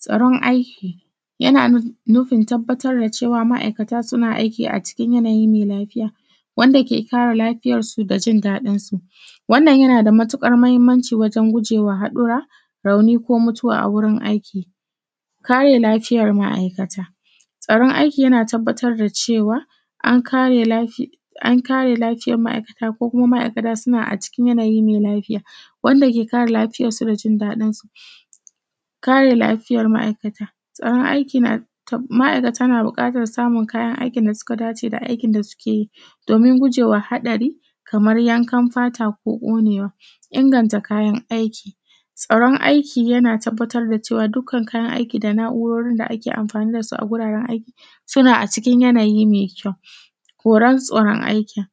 Tsaron aiki yana nufin tabbatar da cewa, ma’aikata suna aiki a cikin yanayi me lafiya wanda ke kare lafiyarsu da jin daɗinsu. Wannan yana da matuƙar mahimmanci wajen guje wa haɗura, rauni ko mutuwa a wurin aiki. Kare lafiyar ma’aikata, tsaran aiki yana tabbatar da cewa an kare lafi a kare lafi; an kare lafiyan ma’aikata ko kuma ma’aikata suna a cikin yanayi me lafiya wanda ke kare lafiyarsu da jin daɗinsu. Kare lafiyar ma’aikata tsaran aiki na ta ma’aikata na buƙatar samun kayan aikin da suka dace da aikin da suke yi domin guje wa haɗari kamar yankan fata ko ƙonewa, inganta kayan aiki, tsaron aiki yana tabbatar da cewa dukkan kayan aiki da na’urorin da ake anfani da su a guraren aikin suna a cikin yanayi me kyau. Horan tsoron aiki,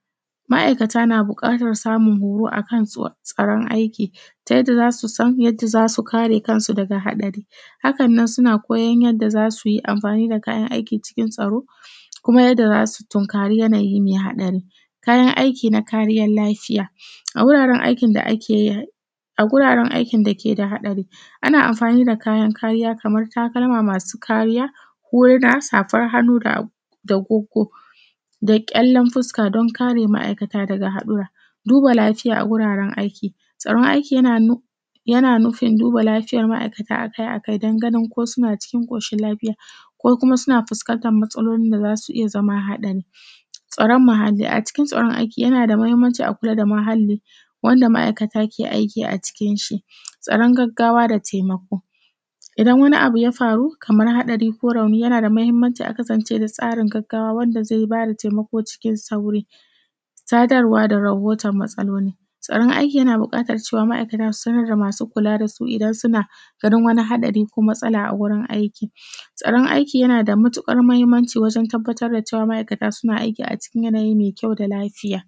ma’aikata na buƙatar samun horo a kan tsaron aiki ta yadda za su san yadda za su kare kansu daga haɗari Haka nan, suna koyan yadda za su yi anfani da kayan aiki cikin tsaro kuma yadda za su tunkari yanayi me haɗari. Kayan aiki na kariyan lafiya a wuraren aikin da ake a; a guraran aikin da ke da haɗari ana anfani da kayan kariya kamar takalma masu kariya, huruna, safar hannu da ag da guggo da ƙyallan fuska don kare ma’aikata daga haɗura. Duba lafiya a guraran aiki, tsaron aiki yana nu yana nufin duba lafiyar ma’aikata a kai a kai dan ganin ko suna cikin ƙoshin lafiya ko kuma suna fuskantan matsalolin da za su iya zama haɗari. Tsaron muhalli, a cikin tsaron aiki yana da mahimmanci a kula da muhalli wanda ma’aikata ke aiki a cikin shi. Tsaran gaggawa da temako idan wani abu ya faru kamar haɗari ko rauni, yana da mahimmanci a kasance da tsaron gaggawa wanda ze na da temako cikin sauri. Sadarwa da rahotan matsaloli, tsaran aiki yana buƙatar cewa, ma’aikata su sanar da masu kula da su idan suna ganin wani haɗari ko matsala a gurin aiki. Tsaran aiki yana da mutuƙar mahimmanci wajen tabbatar da cewa, ma’aikata suna aiki a cikin yanayi me kyau da lafiya.